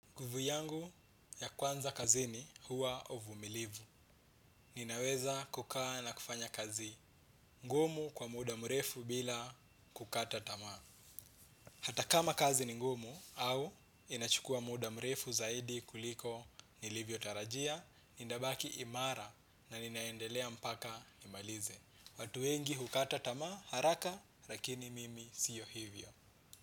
Nguvu yangu ya kwanza kazini huwa uvumilivu. Ninaweza kukaa na kufanya kazi ngumu kwa muda mrefu bila kukata tamaa. Hata kama kazi ni ngumu au inachukua muda mrefu zaidi kuliko nilivyotarajia, ninabaki imara na ninaendelea mpaka nimalize. Watu wengi hukata tamaa haraka lakini mimi siyo hivyo.